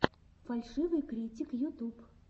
фальшивый критик ютуб